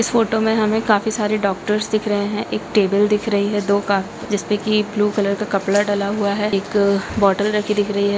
इस फोंटो मै हमे काफी सारे डॉक्टर्स दिख रहे है एक टेबल दिख रही है दो का जिसपे की ब्लू कलर का कपड़ा डला हुआ है एक अ बोतल रखीं दिख रही है।